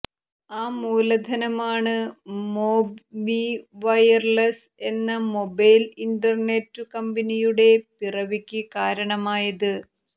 ആ മൂലധനമാണ് MobMe Wireless എന്ന മൊബൈല് ഇന്റര്നെറ്റ് കമ്പനിയുടെ പിറവിക്ക് കാരണമായത്